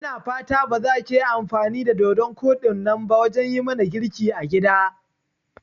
Ina fatan bazakiyi amfani da dodun koɗinnan ba wajan yimana girki a gida?